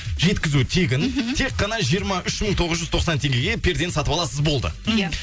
жеткізу тегін мхм тек қана жиырма үш мың тоғыз жүз тоқсан теңгеге пердені сатып аласыз болды иә